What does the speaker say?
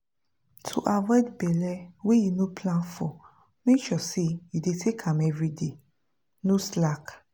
to avoid belle wey you no plan for make sure say you dey take am everyday. no slack!